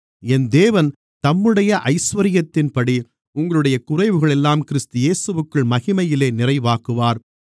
என் தேவன் தம்முடைய ஐசுவரியத்தின்படி உங்களுடைய குறைகளையெல்லாம் கிறிஸ்து இயேசுவிற்குள் மகிமையிலே நிறைவாக்குவார்